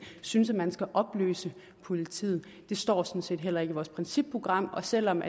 synes at man skal opløse politiet det står sådan set heller ikke i vores principprogram og selv om